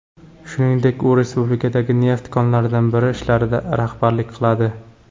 Shuningdek, u respublikadagi neft konlaridan biri ishlarida rahbarlik qiladi.